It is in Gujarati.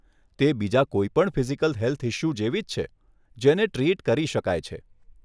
તે બીજાં કોઈ પણ ફિઝિકલ હેલ્થ ઇસ્યું જેવી જ છે જેને ટ્રીટ કરી શકાય છે.